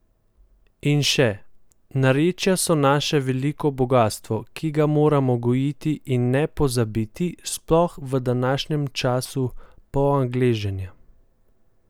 In še: "Narečja so naše veliko bogastvo, ki ga moramo gojiti in ne pozabiti, sploh v današnjem času poangleženja.